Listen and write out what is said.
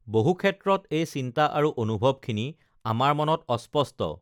বহুক্ষেত্ৰত এই চিন্তা আৰু অনুভৱখিনি আমাৰ মনত অস্পষ্ট